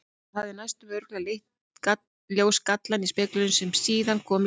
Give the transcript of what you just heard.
Það hefði næsta örugglega leitt í ljós gallann í speglinum sem síðar kom í ljós.